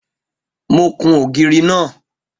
Mo kun ògiri náà